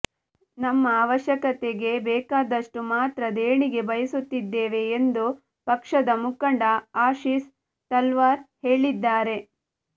ನಮ್ಮ ಅವಶ್ಯಕತೆಗೆ ಬೇಕಾದಷ್ಟು ಮಾತ್ರ ದೇಣಿಗೆ ಬಯಸುತ್ತಿದ್ದೇವೆ ಎಂದು ಪಕ್ಷದ ಮುಖಂಡ ಆಶಿಸ್ ತಲ್ವಾರ್ ಹೇಳಿದ್ದಾರೆ